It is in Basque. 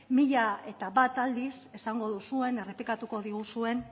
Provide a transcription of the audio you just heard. mila eta bat aldiz esango duzuen errepikatuko diguzuen